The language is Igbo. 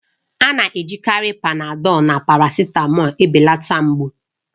A na-ejikarị Panadọlu na parasitamọlu ebelata mgbu